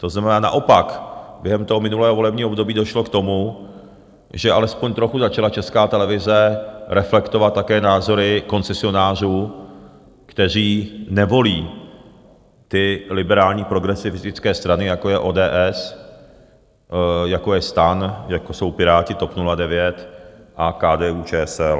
To znamená, naopak během toho minulého volebního období došlo k tomu, že alespoň trochu začala Česká televize reflektovat také názory koncesionářů, kteří nevolí ty liberální progresivistické strany, jako je ODS, jako je STAN, jako jsou Piráti, TOP 09 a KDU-ČSL.